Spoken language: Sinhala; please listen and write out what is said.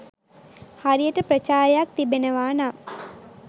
හරියට ප්‍රචාරයක් තිබෙනවා නම්